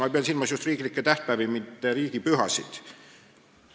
Ma pean silmas just riiklikke tähtpäevi, mitte riigipühasid.